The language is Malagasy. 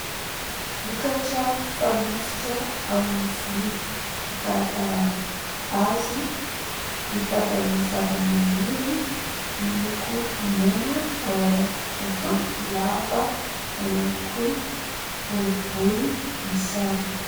Vokatra fanosotra amin'ny volo, fikarakarana azy vita avy amin'ny zavamaniry, miloko mena ao anaty tavoahangy lava na ihany koa ny boribory misarona.